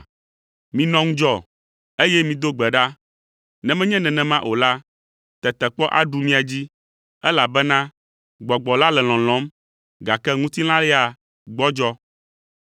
Minɔ ŋudzɔ, eye mido gbe ɖa, ne menye nenema o la, tetekpɔ aɖu mia dzi, elabena gbɔgbɔ la le lɔlɔ̃m, gake ŋutilã ya gbɔdzɔ.”